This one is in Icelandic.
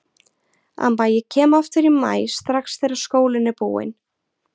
Amma ég kem aftur í maí strax þegar skólinn er búinn